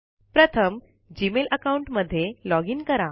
प्रथम Gmail account मध्ये login करा